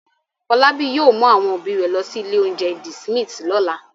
Fọlábí yóò mú àwọn òbí rẹ̀ lọ sí ilé-oúnjẹ The Smith lọ́la.